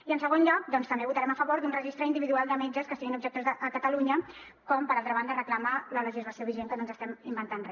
i en segon lloc també votarem a favor d’un registre individual de metges que siguin objectors a catalunya com per altra banda reclama la legislació vigent que no ens estem inventant re